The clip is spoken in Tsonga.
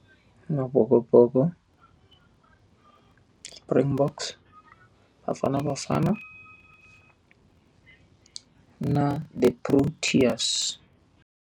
Amabokoboko, Springboks, Bafana Bafana na the Proteas.